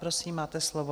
Prosím, máte slovo.